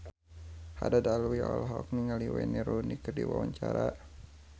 Haddad Alwi olohok ningali Wayne Rooney keur diwawancara